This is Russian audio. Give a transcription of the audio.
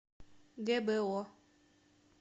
гбо